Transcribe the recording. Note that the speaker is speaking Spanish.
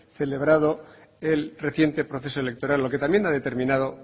celebrado el reciente proceso electoral lo que también ha determinado